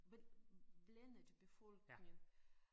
Blandet befolkning